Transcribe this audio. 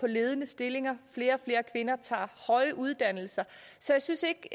ledende stillinger og flere og flere kvinder tager høje uddannelser så jeg synes ikke